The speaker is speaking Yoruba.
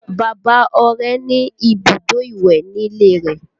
Bàbá Ọrẹ ní ibùdó ìwẹ̀ nílé rẹ̀